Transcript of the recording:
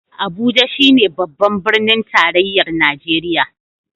Abuja shi ne Babban Birnin Tarayyar Najeriya.